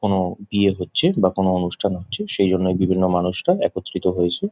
কোনো বিয়ে হচ্ছে বা কোনো অনুষ্ঠান হচ্ছে সেই জন্য বিভিন্ন মানুষরা একত্রিত হয়েছে।